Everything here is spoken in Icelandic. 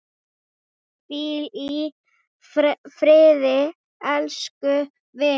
Hvíl í friði, elsku vinur.